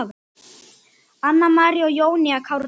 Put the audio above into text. Anna María og Jónína Kárdal.